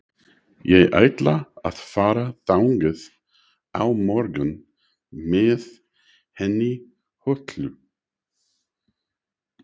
Ég ætla að fara þangað á morgun með henni Höllu.